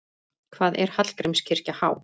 Hvað er Hallgrímskirkja há?